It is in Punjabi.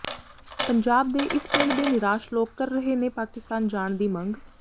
ਪੰਜਾਬ ਦੇ ਇਸ ਪਿੰਡ ਦੇ ਨਿਰਾਸ਼ ਲੋਕ ਕਰ ਰਹੇ ਨੇ ਪਾਕਿਸਤਾਨ ਜਾਣ ਦੀ ਮੰਗ